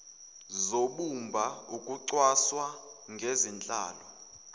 zobumba ukucwaswa ngezenhlalo